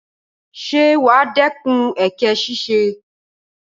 Ṣé wàá dẹ́kun èké ṣíṣe?